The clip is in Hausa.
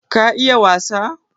ka iya wasa?